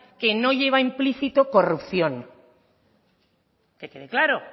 que no lleva implícito corrupción que quede claro